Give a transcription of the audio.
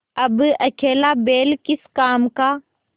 अब अकेला बैल किस काम का